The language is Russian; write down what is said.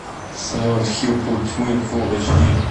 сайлент хилл путь тьмы фул эйч ди